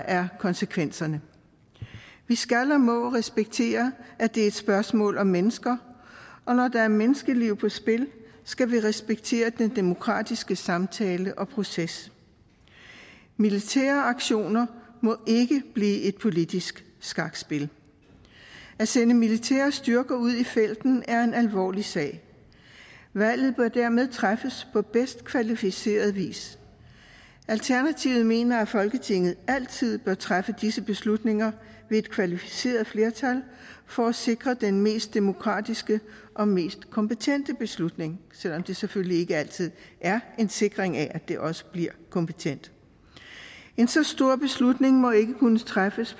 er konsekvenserne vi skal og må respektere at det er et spørgsmål om mennesker og når der er menneskeliv på spil skal vi respektere den demokratiske samtale og proces militære aktioner må ikke blive et politisk skakspil at sende militære styrker ud i felten er en alvorlig sag valget bør dermed træffes på bedst kvalificeret vis alternativet mener at folketinget altid bør træffe disse beslutninger med et kvalificeret flertal for at sikre den mest demokratiske og mest kompetente beslutning selv om det selvfølgelig ikke altid er en sikring af at den også bliver kompetent en så stor beslutning må ikke kunne træffes